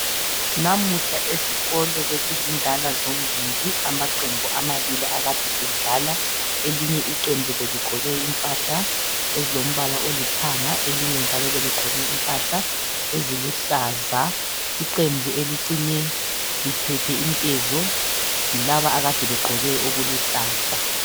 Namuhla esikolo bekuzindala zombili amaqembu amabili ekade edlala elinye iqembu beligqoke impahla ezilombala olithanga elinye njalo beligqoke impahla eziluhlaza. Iqembu elicine lithethe inkezo yilaba akade begqoke okuluhlaza.